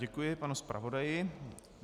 Děkuji panu zpravodaji.